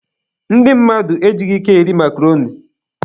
Ndị mmadụ ejighị ike eri makroni.